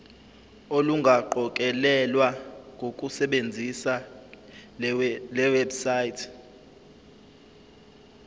olungaqokelelwa ngokusebenzisa lewebsite